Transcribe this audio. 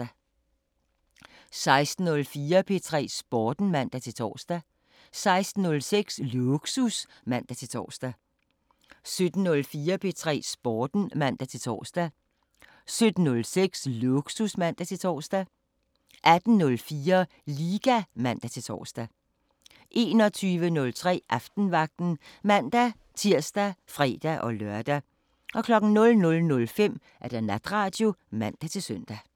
16:04: P3 Sporten (man-tor) 16:06: Lågsus (man-tor) 17:04: P3 Sporten (man-tor) 17:06: Lågsus (man-tor) 18:04: Liga (man-tor) 21:03: Aftenvagten (man-tir og fre-lør) 00:05: Natradio (man-søn)